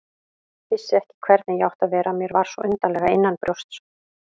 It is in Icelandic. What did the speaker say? Vissi ekki hvernig ég átti að vera, mér var svo undarlega innanbrjósts.